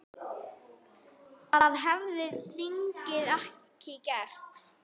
Það hefði þingið ekki gert.